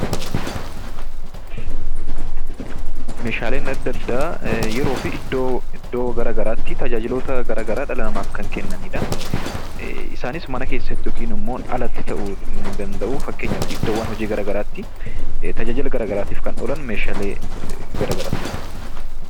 Meeshaaleen addaa addaa yeroo fi bakka addaa addaatti tajaajila garaa garaa dhala namaaf kan kennanii dha. Isaannis mana keessattis haa ta'u alatti ta'uu ni danda'u. Fakkeenyaaf idddoowwan hojiitti tajaajila garaa garaatiif kan oolan meeshaalee garaa garaa ta'uu danda'u.